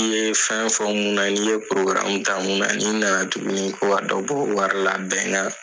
I ye fɛn fɔ mun na n'i ye ta mun na ni na na tuguni ko ka dɔ bɔ wari la bɛn